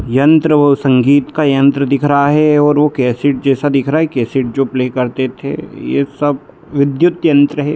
यंत्र वो संगीत का यंत्र दिख रहा है और वो केसेट जैसा दिख रहा है केसैट जो प्ले करते थे ये सब विद्युत यंत्र है।